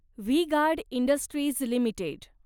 V guard industries limited